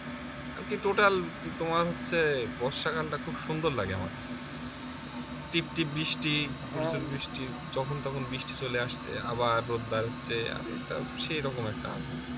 আর কি total তোমার হচ্ছে বর্ষাকালটা খুব সুন্দর লাগে আমার কাছে, টিপটিপ বৃষ্টি প্রচুর বৃষ্টি যখন তখন বৃষ্টি চলে আসছে আবার রোদ দাঁড়াচ্ছে আরে একটা সেই রকম একটা আবহাওয়া